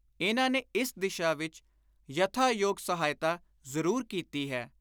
ਇਨ੍ਹਾਂ ਨੇ ਇਸ ਦਿਸ਼ਾ ਵਿਚ ਯਥਾ ਯੋਗ ਸਹਾਇਤਾ ਜ਼ਰੂਰ ਕੀਤੀ ਹੈ।